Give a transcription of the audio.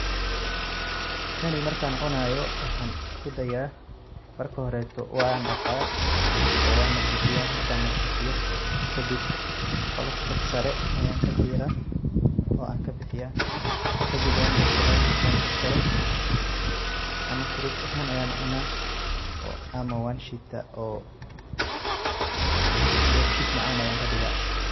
Kani markaan cunaayo waxaan isku dayaa ,marka horreto waan dhaqaa ,oo waan nadifiyaa ,markaan nadifiyo kadib qolofta sare ayaan ka diraa oo aan ka bixiyaa kadib waa jarjaraa .Markaan jarjaro ma fruits ahaan ayaan cunaa ama waan shiitaa oo dheefshiid macaan ayaan ka dhigaa.